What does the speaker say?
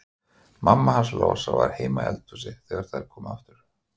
Mamma hans Lása var heima í eldhúsi þegar þær komu aftur.